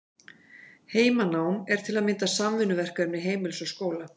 Heimanám er til að mynda samvinnuverkefni heimilis og skóla.